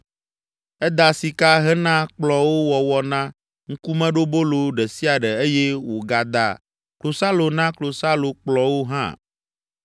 Eda sika hena kplɔ̃wo wɔwɔ na Ŋkumeɖobolo ɖe sia ɖe eye wògada klosalo na klosalokplɔ̃wo hã.